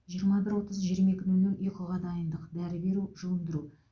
жиырма бір отыз жиырма екі нөл нөл ұйқыға дайындық дәрі беру жуындыру